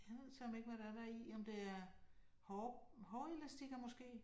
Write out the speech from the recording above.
Jeg ved søreme ikke, hvad der er deri, om det er hår hårelastikker måske